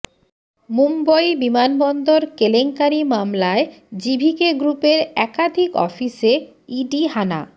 মুম্বই বিমানবন্দর কেলেঙ্কারি মামলায় জিভিকে গ্রুপের একাধিক অফিসে ইডি হানা